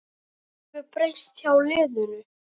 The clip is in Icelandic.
Hvað hefur breyst hjá liðinu?